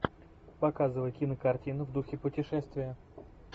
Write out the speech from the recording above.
показывай кинокартину в духе путешествия